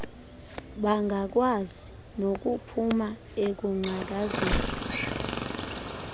bangakwazi nokuphuma ekungcakazeni